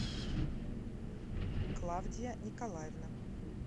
клавдия николаевна